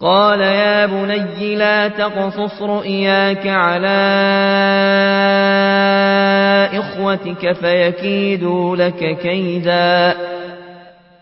قَالَ يَا بُنَيَّ لَا تَقْصُصْ رُؤْيَاكَ عَلَىٰ إِخْوَتِكَ فَيَكِيدُوا لَكَ كَيْدًا ۖ